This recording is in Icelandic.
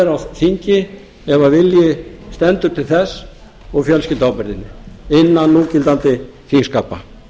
á þingi ef vilji stendur til þess og fjölskylduábyrgðinni innan núgildandi þingskapa